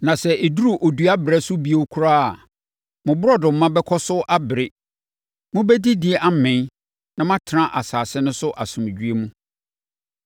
Na sɛ ɛduru odua berɛ so bio koraa a, mo borɔdɔma bɛkɔ so abere. Mobɛdidi amee na moatena asase no so asomdwoeɛ mu,